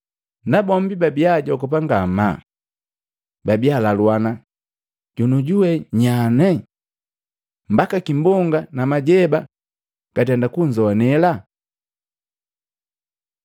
Nabombi babia ajogopa ngamaa. Babia alaluana, “Jonioju we nya eno? Mbaka kimbonga na majeba gatenda kunzowanela?”